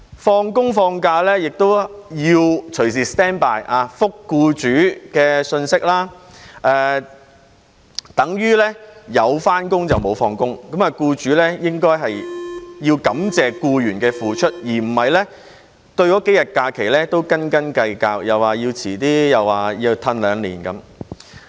放工、放假亦要隨時 stand by， 回覆僱主的信息，這等於有返工、無放工，僱主應該感謝僱員的付出，而不是對這數天假期斤斤計較，說要推遲或要延後兩年。